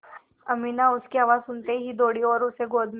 अमीना उसकी आवाज़ सुनते ही दौड़ी और उसे गोद में